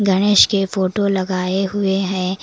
गणेश के फोटो लगाए हुए हैं।